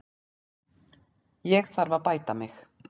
Ég þarf að bæta mig.